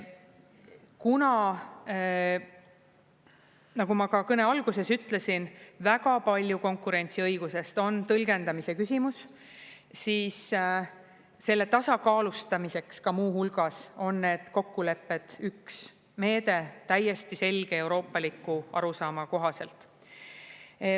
Kuna, nagu ma ka kõne alguses ütlesin, väga palju konkurentsiõigusest on tõlgendamise küsimus, siis selle tasakaalustamiseks ka muu hulgas on need kokkulepped, üks meede täiesti selge euroopalikku arusaama kohaselt.